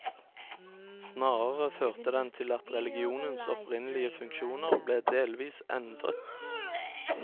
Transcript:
Snarere førte den til at religionens opprinnelige funksjoner ble delvis endret.